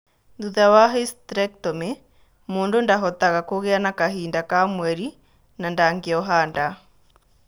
Thutha wa hysterectomy, mũndũ ndahotaga kũgĩa na kahinda ka mweri na ndangĩoha nda.